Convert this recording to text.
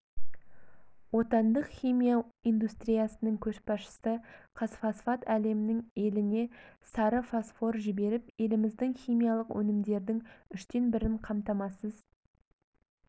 отандық химия индустриясының көшбасшысы қазфосфат әлемнің еліне сары фосфор жіберіп еліміздің химиялық өнімдердің үштен бірін қамтамасыз